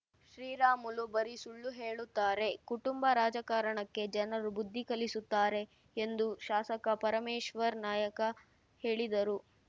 ಶ್ರೀರಾಮುಲು ಬರೀ ಸುಳ್ಳು ಹೇಳುತ್ತಾರೆ ಕುಟುಂಬ ರಾಜಕಾರಣಕ್ಕೆ ಜನರು ಬುದ್ದಿ ಕಲಿಸುತ್ತಾರೆ ಎಂದು ಶಾಸಕ ಪರಮೇಶ್ವರ್ ನಾಯಕ ಹೇಳಿದರು